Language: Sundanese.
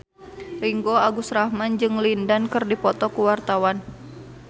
Ringgo Agus Rahman jeung Lin Dan keur dipoto ku wartawan